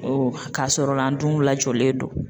Ɔ k'a sɔrɔla an dun lajɔlen don.